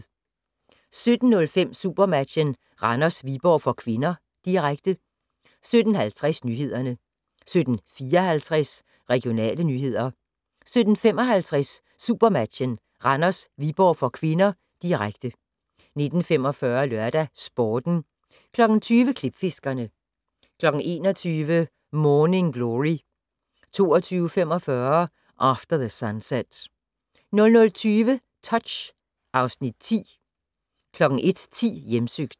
17:05: SuperMatchen: Randers-Viborg (k), direkte 17:50: Nyhederne 17:54: Regionale nyheder 17:55: SuperMatchen: Randers-Viborg (k), direkte 19:45: LørdagsSporten 20:00: Klipfiskerne 21:00: Morning Glory 22:45: After the Sunset 00:20: Touch (Afs. 10) 01:10: Hjemsøgt